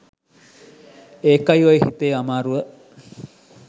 ඒකයි ඔය හිතේ අමාරුව